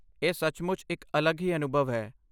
ਇਹ ਸੱਚਮੁੱਚ ਇੱਕ ਅਲੱਗ ਹੀ ਅਨੁਭਵ ਹੈ